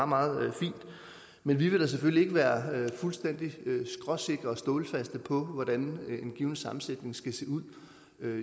meget meget fint men vi vil selvfølgelig ikke være fuldstændig skråsikre og stålsatte på hvordan en given sammensætning skal se ud